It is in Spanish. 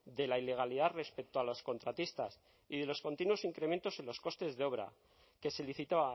de la ilegalidad respecto a los contratistas y de los continuos incrementos en los costes de obra que se licitó